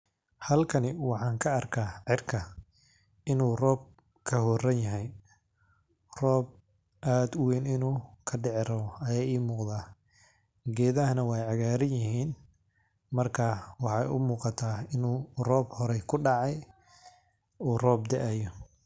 Halkani waxaan ka arkaa cirkaa inu roob kahoranyahay, roob aad uween inu ka diici rawo ayey imuqataa, gedhahana weey cagaaran yihiin, markaa wexee u muqataa inu roob horee kudacaay, u roob daayo.